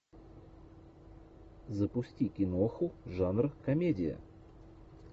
запусти киноху жанр комедия